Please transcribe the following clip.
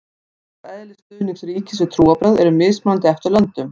umfang og eðli stuðnings ríkis við trúarbrögð eru mismunandi eftir löndum